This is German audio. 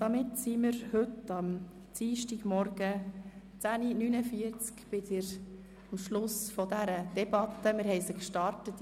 Damit sind wir heute Dienstagmorgen um 10.49 Uhr am Schluss der Haushaltsdebatte angelangt.